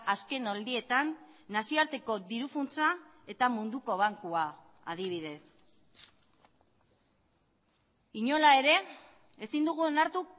azken aldietan nazioarteko diru funtsa eta munduko bankua adibidez inola ere ezin dugu onartu